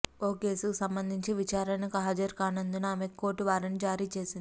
ఓ కేసుకు సంబంధించి విచారణకు హాజరుకానందున ఆమెకు కోర్టు వారెంట్ జారీ చేసింది